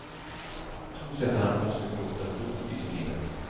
Tonsättarna måste gråta blod i sin himmel.